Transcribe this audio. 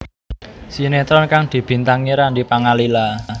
Sinetron kang dibintangi Randy Pangalila